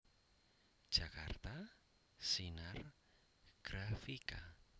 Jakarta Sinar Grafika